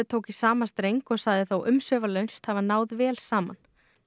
tók í sama streng og sagði þá umsvifalaust hafa náð vel saman